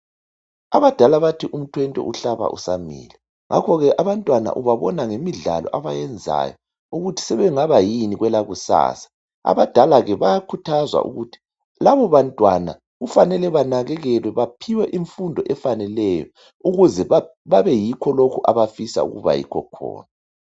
Abadala bathi umthwente uhlaba usamila ngakho ke abantwana ubabona ngemidlalo abayenzayo ukuthi sebengaba yini kwelakusasa. Abadala ke bayakhuthazwa ukuthi labo bantwana kufanele banakekelwe baphiwe imfundo efaneleyo ukuze babe yikho lokhu abafisa ukuba yikho khona.